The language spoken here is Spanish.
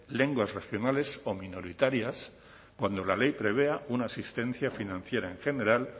lenguas regionales o minoritarias cuando la ley prevea una asistencia financiera en general